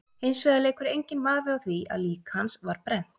Hins vegar leikur enginn vafi á því að lík hans var brennt.